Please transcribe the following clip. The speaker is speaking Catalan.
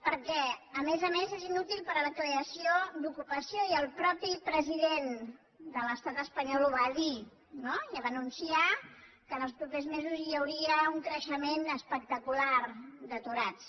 perquè a més a més és inútil per a la creació d’ocupació i el mateix president de l’estat espanyol ho va dir no ja va anunciar que en els propers mesos hi hauria un creixement espectacular d’aturats